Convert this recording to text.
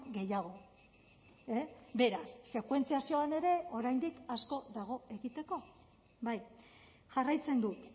gehiago beraz sekuentziazioan ere oraindik asko dago egiteko bai jarraitzen dut